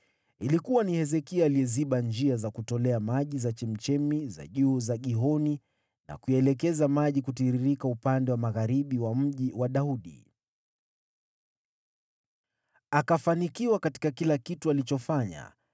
Ilikuwa ni Hezekia aliyeziba njia za kutolea maji za chemchemi za juu za Gihoni na kuyaelekeza maji kutiririkia upande wa magharibi wa Mji wa Daudi. Akafanikiwa katika kila kitu alichofanya.